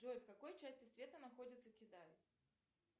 джой в какой части света находится китай